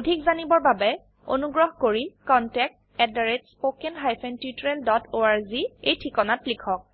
অধিক জানিবৰ বাবে অনুগ্ৰহ কৰি contactspoken tutorialorg এই ঠিকনাত লিখক